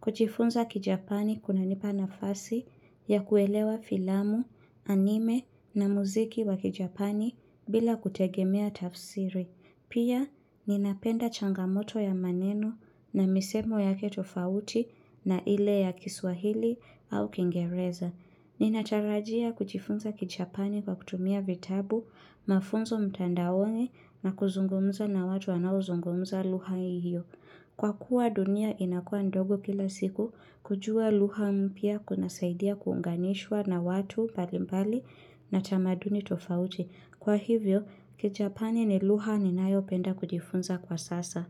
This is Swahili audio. Kujifunza kijapani kuna nipa nafasi ya kuelewa filamu, anime na muziki wa kijapani bila kutegemea tafsiri. Pia ninapenda changamoto ya maneno na misemo yake tofauti na ile ya kiswahili au kingereza. Ninatarajia kujifunza kijapani kwa kutumia vitabu, mafunzo mtandaoni na kuzungumza na watu wanao zungumza lugha hiyo. Kwa kuwa dunia inakua ndogo kila siku, kujua lugha mpya kuna saidia kuunganishwa na watu mbalimbali na tamaduni tofauti. Kwa hivyo, kijapani ni lugha ninayo penda kujifunza kwa sasa.